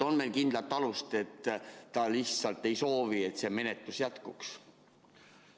On meil kindlat alust, et ta lihtsalt ei soovi, et see menetlus jätkuks?